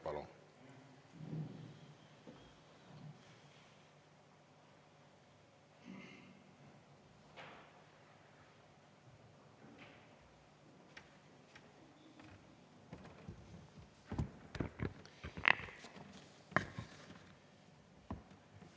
Palun!